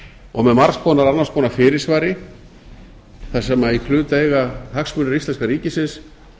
og með margs konar annars konar fyrirsvari þar sem í hlut eiga hagsmunir íslenska ríkisins